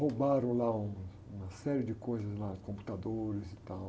Roubaram lá um, uma série de coisas, computadores e tal.